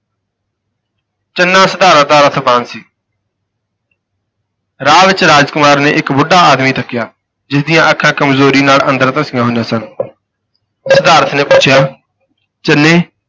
ਚੰਨਾ ਸਿਧਾਰਥ ਦਾ ਰਥਵਾਨ ਸੀ ਰਾਹ ਵਿਚ ਰਾਜ ਕੁਮਾਰ ਨੇ ਇਕ ਬੁੱਢਾ ਆਦਮੀ ਤੱਕਿਆ ਜਿਸ ਦੀਆਂ ਅੱਖਾਂ ਕਮਜ਼ੋਰੀ ਨਾਲ ਅੰਦਰ ਧਸੀਆਂ ਹੋਈਆਂ ਸਨ ਸਿਧਾਰਥ ਨੇ ਪੁੱਛਿਆ ਚੰਨੇ,